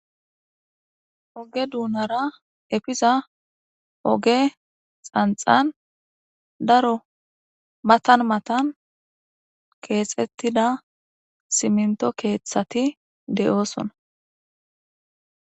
Oge doonara efiza oge tsantsan daro matan matan keexettida siminto keeththati de'oosona.